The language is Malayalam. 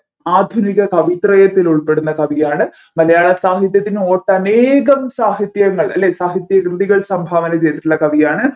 ആധുനിക കവിത്രയത്തിൽ ഉൾപ്പെടുന്ന കവിയാണ് മലയാള സാഹിത്യത്തിൽ ഒട്ടനേകം സാഹിത്യങ്ങൾ അല്ലെ സാഹിത്യ കൃതികൾ സംഭാവന ചെയ്തിട്ടുള്ള കവിയാണ്